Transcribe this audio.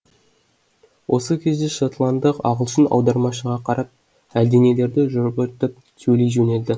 осы кезде шотландық ағылшын аудармашыға қарап әлденелерді сөйлей жөнелді